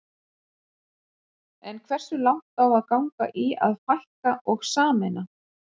En hversu langt á að ganga í að fækka og sameina?